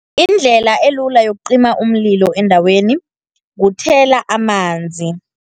Indlela elula yokucima umlilo endaweni, kuthela amanzi.